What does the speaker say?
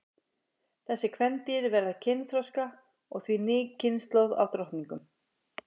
Þessi kvendýr verða kynþroska og því ný kynslóð af drottningum.